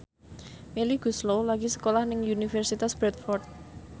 Melly Goeslaw lagi sekolah nang Universitas Bradford